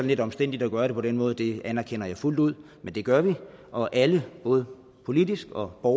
lidt omstændeligt at gøre det på den måde det anerkender jeg fuldt ud men det gør vi og alle både politikere og